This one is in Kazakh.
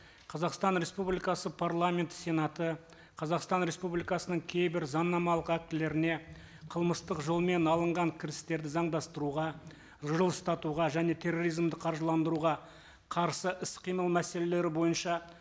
қазақстан республикасы парламенті сенаты қазақстан республикасының кейбір заңнамалық актілеріне қылмыстық жолмен алынған кірістерді заңдастыруға жылыстатуға және терроризмді қаржыландыруға қарсы іс қимыл мәселелері бойынша